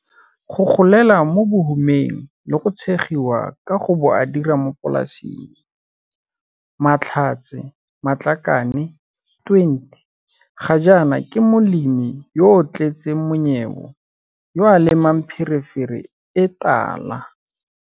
Go golela mo bohumeng le go tshegiwa ka go bo a dira mo polasing, Mahlatse Matlakane, 20, ga jaana ke molemi yo o tletseng monyebo yo a lemang pherefere e tala.